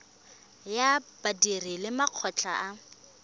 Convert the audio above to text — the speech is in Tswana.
ya badiri le makgotla a